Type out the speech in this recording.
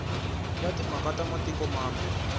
ya timhaka ta matiko mambe